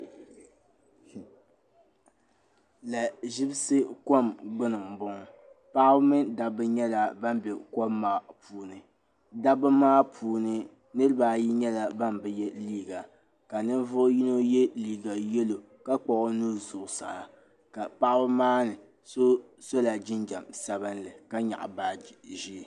lahi ʒibsi kom gbunni m boŋɔ paɣaba mini dabba nyɛla ban bɛ kom maa puuni dabba maa puuni niriba ayi nyɛla ban bɛ yɛ liiga ka ninvuɣu yino yɛ liiga yɛllo ka kpuɣi o nuhi zuɣu saa ka paɣaba maa ni so sola gingɛm sabinli ka nyaɣi baagi ʒee